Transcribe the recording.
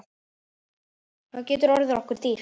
Það getur orðið okkur dýrt.